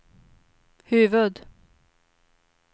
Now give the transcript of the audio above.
huvud